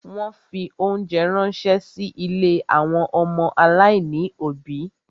Wọ́n fi óńjẹ ránṣẹ́ sí ilé àwọn ọmọ aláìní òbí.